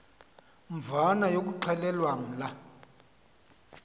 mvana yokuxhelwa lamla